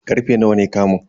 Karfe nawa ne kamun?